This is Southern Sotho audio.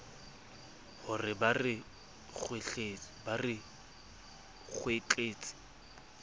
ho re ba re kwetletse